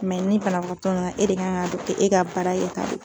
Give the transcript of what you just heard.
ni banabagatɔ nana e de kan ka don k'e ka baara ye k'a don